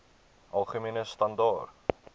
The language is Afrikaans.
algemene standaar